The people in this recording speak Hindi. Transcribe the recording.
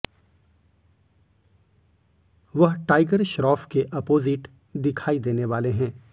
वह टाइगर श्रॅाफ के अपोजिट दिखाई देने वाले हैं